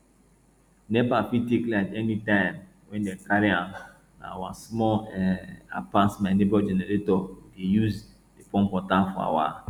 nepa fit take light anytime wen dem carry am na our small um i pass my neighbor generator we dey use dey pump water for our